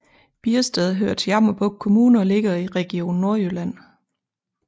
Biersted hører til Jammerbugt Kommune og ligger i Region Nordjylland